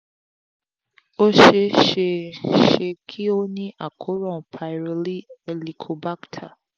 ó ṣe é ṣe ṣe kí ó ní àkóràn pyroli helicobacter